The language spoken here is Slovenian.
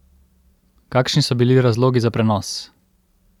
Kakšni so bili razlogi za prenos?